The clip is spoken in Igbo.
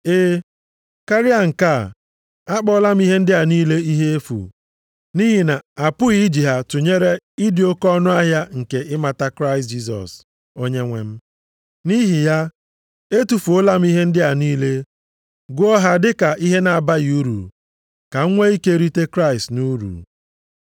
E, karịa nke a, akpọọla m ihe ndị a niile ihe efu, nʼihi na a pụghị iji ha tụnyere ịdị oke ọnụahịa nke ịmata Kraịst Jisọs, Onyenwe m. Nʼihi ya, etufuola m ihe ndị a niile, gụọ ha dị ka ihe na-abaghị uru, ka m nwee ike rite Kraịst nʼuru.